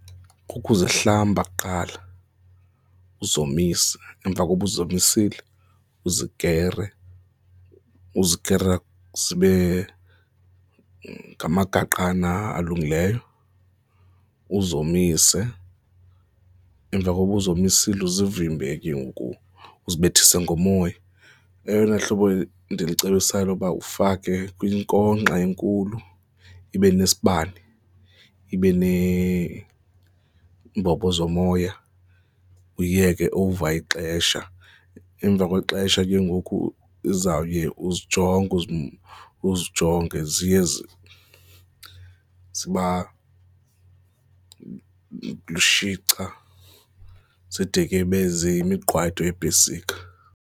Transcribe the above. Kukuzihlamba kuqala, uzomise, emva kokuba uzomisile uzikere, uzikere zibe ngamagaqana alungileyo, uzomise. Emva kokuba uzomisile uzivimbe ke ngoku uzibethise ngomoya. Eyona hlobo ndilucebisayo loba ufake kwinkonkxa enkulu, ibe nesibane, ibe neembobo zomoya, uyiyeke over ixesha. Emva kwexesha ke ngoku izawuya uzijonge uze uzijonge ziye ziba lushica zide ke zibe yimiqwayito yeepesika.